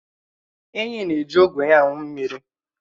Ènyị́ na-èji ógwe ya aṅụ mmiri